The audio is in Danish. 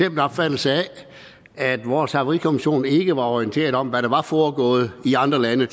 en opfattelse af at vores havarikommission ikke var orienteret om hvad der tidligere var foregået i andre lande i